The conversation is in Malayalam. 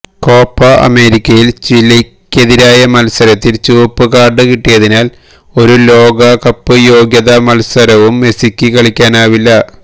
കോപ്പ അമേരിക്കയില് ചിലിക്കെതിരായ മത്സരത്തില് ചുവപ്പ് കാര്ഡ് കിട്ടിയതിനാല് ഒരു ലോകകപ്പ് യോഗ്യതാ മത്സരവും മെസിക്ക് കളിക്കാനാവില്ല